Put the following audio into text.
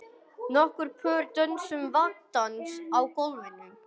Nokkur pör dönsuðu vangadans á gólfinu.